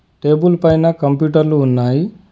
Table పైన కంప్యూటర్లు ఉన్నాయి.